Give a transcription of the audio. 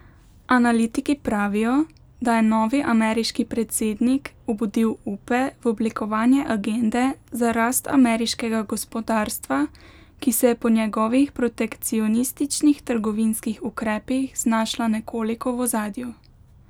Analitiki pravijo, da je novi ameriški predsednik obudil upe v oblikovanje agende za rast ameriškega gospodarstva, ki se je po njegovih protekcionističnih trgovinskih ukrepih znašla nekoliko v ozadju.